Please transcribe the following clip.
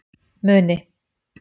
Muni